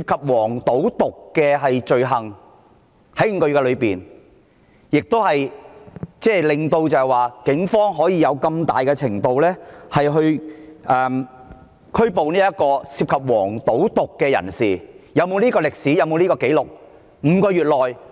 及"黃、賭、毒"的罪行，令警方能夠如此大規模地拘捕涉及"黃、賭、毒"的人士，是否有這種歷史、這項紀錄呢？